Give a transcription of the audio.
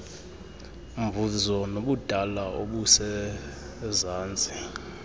mvuzo nobudala obusezantsi